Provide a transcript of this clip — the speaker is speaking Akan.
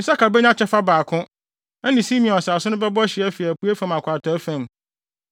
Isakar benya kyɛfa baako; ɛne Simeon asase no bɛbɔ hye afi apuei fam akɔ atɔe fam.